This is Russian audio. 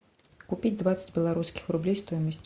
купить двадцать белорусских рублей стоимость